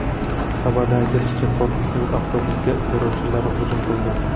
Xabarda aytilishicha, korpusning avtobusiga terrorchilar hujum qilgan.